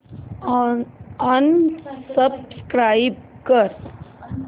unsubscribe कर